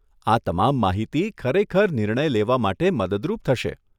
આ તમામ માહિતી ખરેખર નિર્ણય લેવા માટે મદદરૂપ થશે.